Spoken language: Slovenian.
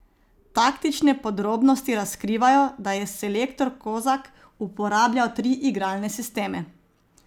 Taktične podrobnosti razkrivajo, da je selektor Kozak uporabljal tri igralne sisteme.